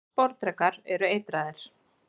allir sporðdrekar eru eitraðir